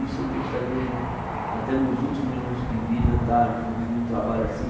Isso eu gostaria de, até meus últimos minutos de vida, estar junto num trabalho assim.